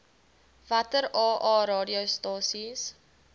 watter aa radiostasies